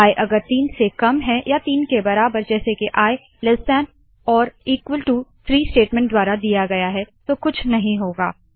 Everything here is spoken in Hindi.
आई अगर तीन से कम है या तीन के बराबर जैसे के ilt3 स्टेटमेंट द्वारा दिया गया तो कुछ नहीं होगा